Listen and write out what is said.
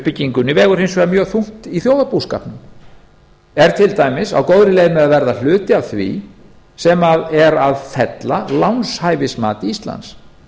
í stóriðjuuppbyggingunni vegur hins vegar þungt í þjóðarbúskapnum er til dæmis á góðri leið að verða hluti af því sem er að fella lánshæfismat íslands